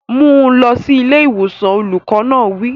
Mú un lọ sí ilé ìwòsàn! Olùkọ́ náà wí.